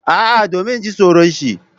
A'a domin ina jin tsoron shi.